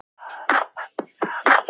Aðalberg, hver er dagsetningin í dag?